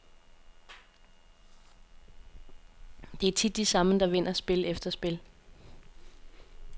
Det er tit de samme, der vinder spil efter spil.